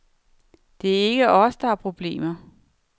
Det er ikke os, der har problemer.